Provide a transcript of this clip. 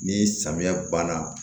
Ni samiya banna